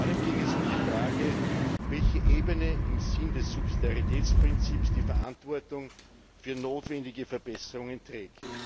Vor allem ging es um die Frage, welche Ebene im Sinne des Subsidiaritätsprinzips die Verantwortung für notwendige Verbesserungen trägt.